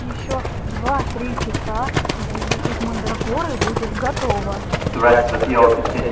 ещё два-три часа и зелье из мандрагоры будет готово